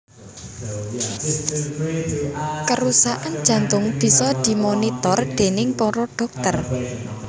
Kerusakan jantung bisa dimonitor déning para dhokter